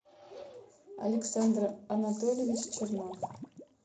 александр анатольевич чернов